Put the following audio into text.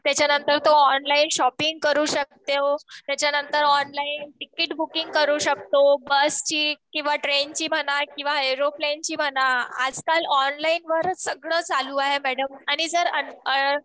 त्याच्यानंतर तो online shopping करू शकतो. त्याच्यानंतर ऑनलाईन तिकीट बुकिंग करू शकतो. बसची किंवा ट्रेनची म्हणा किंवा एरोप्लेनची म्हणा. आजकाल ऑनलाईन वरच सगळं चालू आहे मॅडम. आणि जर